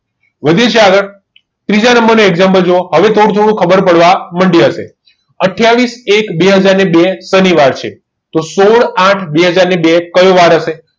અવે વધીએ છીએ આગળ ત્રીજા નંબરનો example જુઓ હવે થોડુંક થોડુંક ખબર પડવા માંડી હશે આથીયાવીસ એક બે હજાર ને બે શનિવાર છે તો સોઢ આઠ બે હજાર ને બે કયો વાર હશે